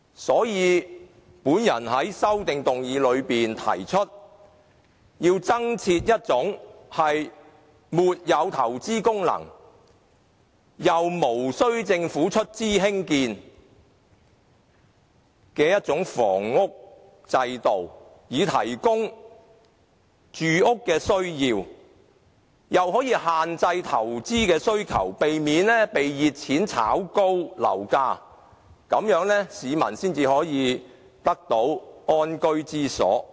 所以，我在修正案裏提出要增設一種沒有投資功能，既無投資功能，又無須政府出資興建的房屋制度，以滿足市民住屋的需要，同時亦限制投資的需求，避免被熱錢炒高樓價，這樣市民才能覓得安居之所。